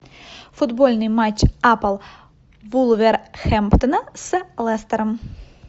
футбольный матч апл вулверхэмптона с лестером